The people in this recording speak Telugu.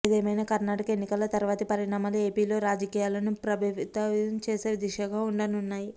ఏదేమైనా కర్ణాటక ఎన్నికల తర్వాతి పరిణామాలు ఏపీలో రాజకీయాలను ప్రభావితం చేసే దిశగా ఉండనున్నాయి